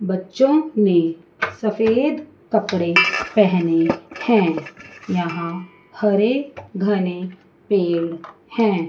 बच्चों ने सफेद कपड़े पहने हैं यहां हरे घने पेड़ हैं।